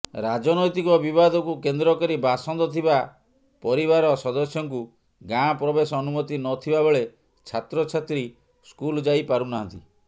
ରାଜନ୘ତିକ ବିବାଦକୁ କେନ୍ଦ୍ରକରି ବାସନ୍ଦ ଥିବା ପରିବାର ସଦସ୍ୟଙ୍କୁ ଗାଁ ପ୍ରବେଶ ଅନୁମତି ନଥିବାବେଳେ ଛାତ୍ରଛାତ୍ରୀ ସ୍କୁଲ ଯାଇପାରୁନାହାନ୍ତି